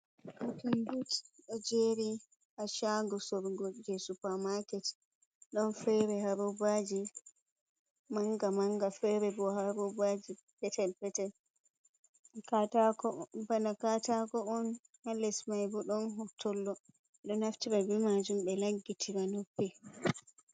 Kottunbutt ɗo jeri ha shago sorogo je supa maaket, don fere ha rubaji manga manga, fere bo ha rubaji petel petel. Bana katako’on, halesmaibo don hotollo beɗo naftira bi majum be laggitira noppi.